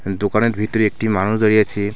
দোকানের ভিতরে একটি মানুষ দাঁড়িয়ে আছে.